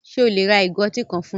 Ṣe o le ra igò ọ̀tí kan fún mi?